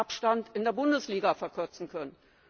Wettbewerbsabstand in der Bundesliga verkürzen können.